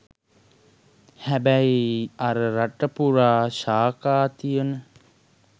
හැබැයි අර රට පුරා ශාඛා තියන